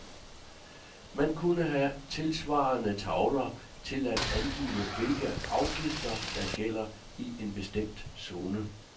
Man kunne have tilsvarende tavler til at angive, hvilke afgifter, der gælder i en bestemt zone.